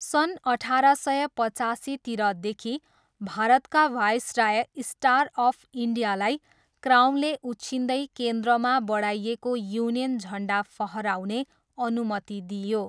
सन् अठार सय पचासीतिरदेखि भारतका वायसराय 'स्टार अफ इन्डिया'लाई क्राउनले उछिन्दै केन्द्रमा बढाइएको युनियन झन्डा फहराउने अनुमति दिइयो।